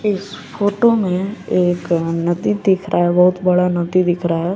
इस फोटो में एक नदी दिख रहा है बहुत बड़ा नदी दिख रहा है।